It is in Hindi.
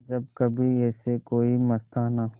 जब कभी ऐसे कोई मस्ताना